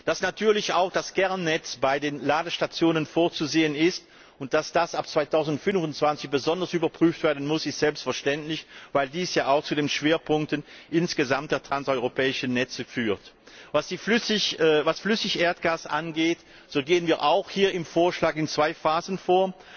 Dass natürlich auch das Kernnetz bei den Ladestationen vorzusehen ist und dass das ab 2025 besonders überprüft werden muss, ist selbstverständlich, weil dies ja auch zu den Schwerpunkten der transeuropäischen Netze insgesamt führt. Was Flüssigerdgas angeht, so gehen wir auch hier im Vorschlag in zwei Phasen vor.